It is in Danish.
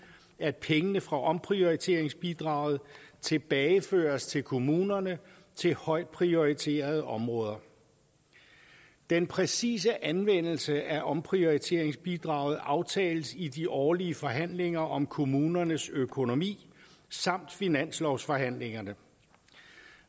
at pengene fra omprioriteringsbidraget tilbageføres til kommunerne til højtprioriterede områder den præcise anvendelse af omprioriteringsbidraget aftales i de årlige forhandlinger om kommunernes økonomi samt i finanslovsforhandlingerne